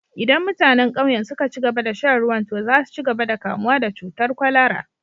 Idan mutanen ƙauyen suka ci gaba da shan ruwan, to za su ci gaba da kamuwa da cutar kwalara